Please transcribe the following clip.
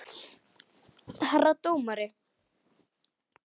Herra dómari!